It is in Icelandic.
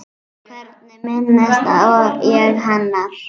Hvernig minnist ég hennar?